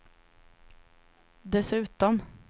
dessutom